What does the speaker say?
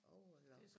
Overlock